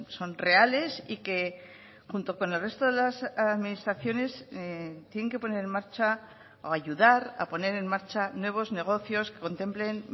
son reales y que junto con el resto de las administraciones tienen que poner en marcha o ayudar a poner en marcha nuevos negocios que contemplen